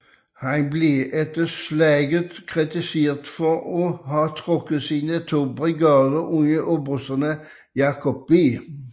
Han blev efter slaget kritiseret for at have trukket sine to brigader under obersterne Jacob B